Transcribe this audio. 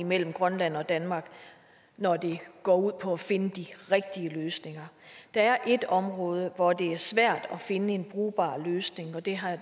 mellem grønland og danmark når det går ud på at finde de rigtige løsninger der er ét område hvor det er svært at finde en brugbar løsning og det har